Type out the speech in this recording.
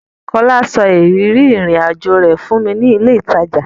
Kọ́lá sọ ìrírí ìrìn-àjọ rẹ̀ fún mi ní ilé-ìtajà.